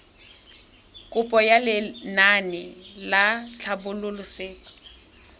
kopo ya lenaane la tlhabololosewa